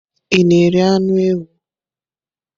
Ị na-eri anụ ewu?